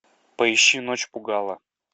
поищи ночь пугала